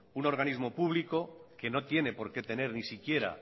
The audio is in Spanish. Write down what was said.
un organismo público que no tiene por qué tener ni siquiera